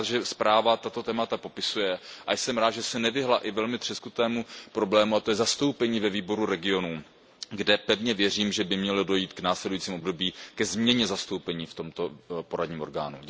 Jsem rád, že zpráva tato témata popisuje, a jsem rád, že se nevyhnula i velmi třeskutému problému, a to je zastoupení ve Výboru regionů, kde pevně věřím, že by mělo dojít v následujícím období ke změně zastoupení v tomto poradním orgánu.